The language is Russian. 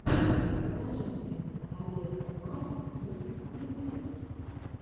покажи мне авесэмар кидс ютюб